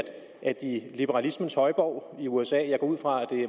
at i liberalismens højborg usa og jeg går ud fra at